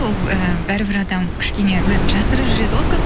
ол і бәрібір адам кішкене өзін жасырып жүреді ғой көп